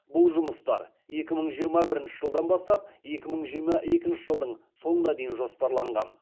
бұл жұмыстар екі мың жиырма бірінші жылдан бастап екі мың жиырма екінші жылдың соңына дейін жоспарланған